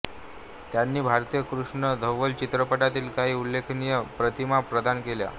त्यांनी भारतीय कृष्ण धवल चित्रपटातील काही उल्लेखनीय प्रतिमा प्रदान केल्या